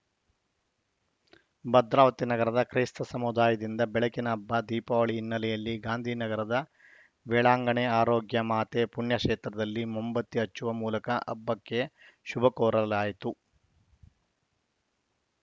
ಭದ್ರಾವತಿ ನಗರದ ಕ್ರೈಸ್ತ ಸಮುದಾಯದಿಂದ ಬೆಳಕಿನ ಹಬ್ಬ ದೀಪಾವಳಿ ಹಿನ್ನೆಲೆಯಲ್ಲಿ ಗಾಂಧಿ ನಗರದ ವೆಳಾಂಗಣಿ ಆರೋಗ್ಯ ಮಾತೆ ಪುಣ್ಯಕ್ಷೇತ್ರದಲ್ಲಿ ಮೊಂಬತ್ತಿ ಹಚ್ಚುವ ಮೂಲಕ ಹಬ್ಬಕ್ಕೆ ಶುಭ ಕೋರಲಾಯಿತು